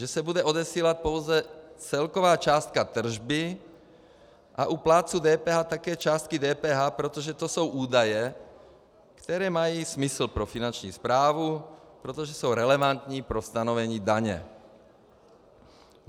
Že se bude odesílat pouze celková částka tržby a u plátců DPH také částky DPH, protože to jsou údaje, které mají smysl pro Finanční správu, protože jsou relevantní pro stanovení daně.